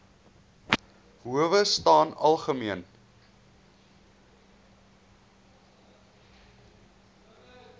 howe staan algemeen